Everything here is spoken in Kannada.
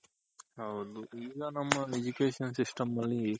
ಹೌದು ಈಗ ನಮ್ಮ Education system ಅಲ್ಲಿ